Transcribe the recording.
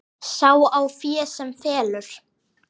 Sá á fé sem felur.